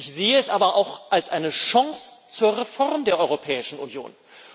Ich sehe es aber auch als eine Chance zur Reform der Europäischen Union.